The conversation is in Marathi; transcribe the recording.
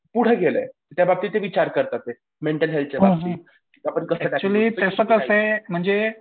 पुढे गेलंय त्या बाबतीत ते विचार करतात ते. मेंटल हेल्थच्या बाबतीत आपण